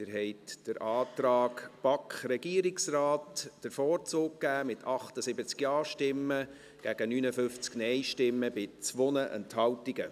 Sie haben dem Antrag BaK / Regierungsrat den Vorzug geben, mit 78 Ja- zu 59 NeinStimmen bei 2 Enthaltungen.